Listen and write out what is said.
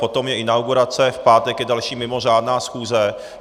Potom je inaugurace, v pátek je další mimořádná schůze.